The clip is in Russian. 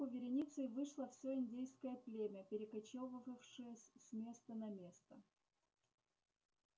на тропинку вереницей вышло всё индейское племя перекочёвывавшее с места на место